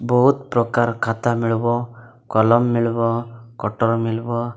ବହୁତ୍ ପ୍ରକାର ଖାତା ମିଳିବ କଲମ ମିଳିବ କଟର ମିଲବ ।